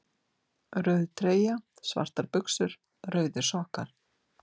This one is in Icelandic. Rauð treyja, Svartar buxur, Rauðir sokkar